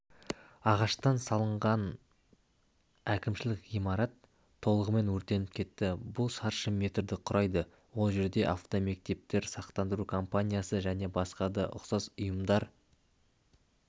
ағаштан салынған әкімшілік ғимарат толығымен өртеніп кетті бұл шаршы метрді құрайды ол жерде автомектептер сақтандыру компаниясы және басқа да ұсақ ұйымдар